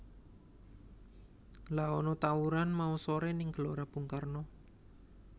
Lha ana tawuran mau sore ning Gelora Bung Karno